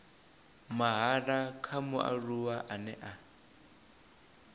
mahala kha mualuwa ane a